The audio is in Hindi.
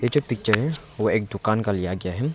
यह जो पिक्चर है वह एक दुकान का लिया गया है।